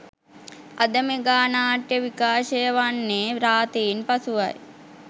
අද මෙගා නාට්‍ය විකාශය වන්‍ෙ‍න්‍ රාතීන් පසුවයි